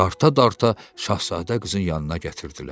Darta-darta şahzadə qızın yanına gətirdilər.